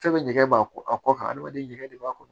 Fɛn bɛ ɲɛgɛn b'a kɔ a kɔ kan hadamaden jɛgɛ de b'a kɔnɔ